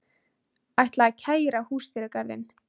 Ætla að kæra Húsdýragarðinn